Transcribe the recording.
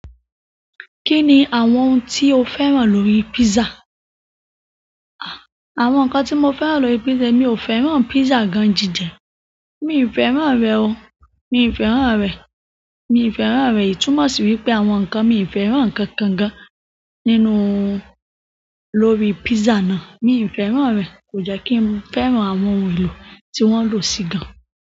Kí ni àwọn ohun tí o fẹ́ràn lórí pizza? Àwọn nǹkan tí mo fẹ́ràn lórí pizza, emi ò fẹ́ràn pizza gan-ji jẹ. Mi ò fẹ́ràn rẹ̀ o. Mi ò fẹ́ràn rẹ̀. Mi ò fẹ́ràn rẹ̀. Ìtúmò sì wípé àwọn nǹkan mi ò fẹ́ràn nkankan gan nínú-- lórí pizza náà. Mi fẹ́ràn re ko je ki n fẹ́ràn àwọn ohun elo ti won lo si gan.